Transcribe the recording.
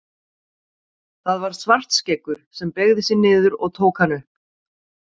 Það var Svartskeggur sem beygði sig niður og tók hann upp.